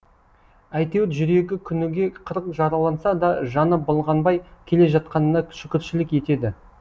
әйтеуір жүрегі күніге қырық жараланса да жаны былғанбай келе жатқанына шүкіршілік етеді